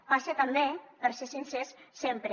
passa també per ser sincers sempre